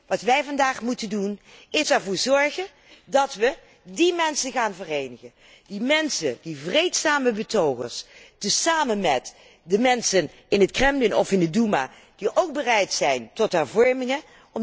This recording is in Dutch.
Wat wij vandaag moeten doen is ervoor zorgen dat wij die mensen gaan verenigen, die mensen, die vreedzame betogers, tezamen met de mensen in het Kremlin of in de Doema die ook bereid zijn tot hervormingen